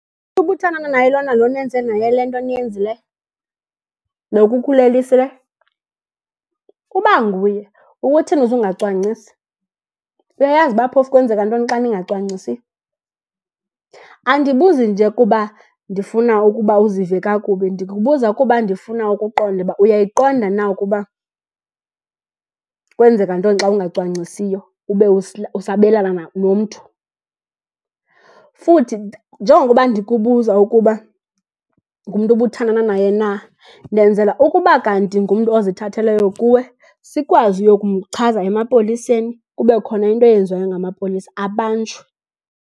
Ubuthanda naye lona lo nenze naye le nto niyenzileyo? Lo ukukhulelisileyo? Uba nguye, ukuthini uze ungacwangcisi? Uyayazi uba phofu kwenzeka ntoni xa ningacwangcisiyo? Andibuzi nje kuba ndifuna ukuba uzive kakubi, ndikubuza kuba ndifuna ukuqonda uba uyayiqonda na ukuba kwenzeka ntoni xa ungacwangcisiyo ube usabelana nomntu. Futhi njengokuba ndikubuza ukuba ngumntu ubuthandana naye na, ndenzela ukuba kanti ngumntu ozithatheleyo kuwe sikwazi uyokumchaza emapoliseni kube khona into eyenziwayo ngamapolisa, abanjwe.